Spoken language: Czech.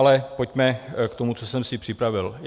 Ale pojďme k tomu, co jsem si připravil.